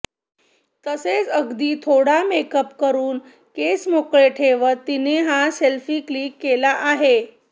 तसेच अगदी थोडा मेकअप करून केस मोकळे ठेवत तिने हा सेल्फी क्लिक केला आहे